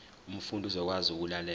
umfundi uzokwazi ukulalela